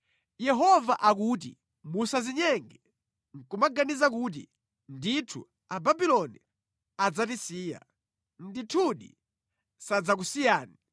“Yehova akuti: Musadzinyenge, nʼkumaganiza kuti, ‘Ndithu Ababuloni adzatisiya.’ Ndithudi sadzakusiyani!